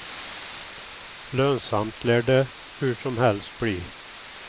Lönsamt lär det hur som helst bli.